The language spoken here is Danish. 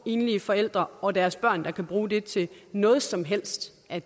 enlige forældre og deres børn der kan bruge det til noget som helst at